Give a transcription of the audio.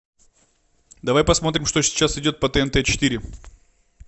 давай посмотрим что сейчас идет по тнт четыре